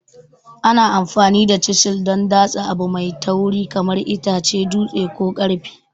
Ana amfani da chisil don datse abu mai tauri kamar itace, dutse, ko ƙarfe.